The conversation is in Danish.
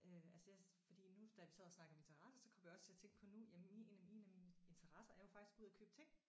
Øh altså jeg fordi nu da vi også sad og snakkede om interesser så kom jeg også til at tænke på nu jamen min en af mine interesser er jo faktisk at gå ud og købe ting